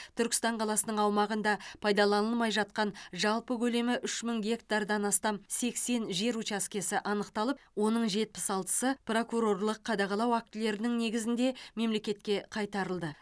түркістан қаласының аумағында пайдаланылмай жатқан жалпы көлемі үш мың гектардан астам сексен жер учаскесі анықталып оның жетпіс алтысы прокурорлық қадағалау актілерінің негізінде мемлекетке қайтарылды